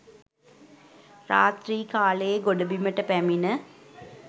රාත්‍රී කාලයේ ගොඩබිමට පැමිණ